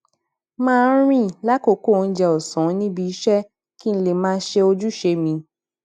máa ń rìn lákòókò oúnjẹ òsán níbi iṣé kí n lè máa ṣe ojúṣe mi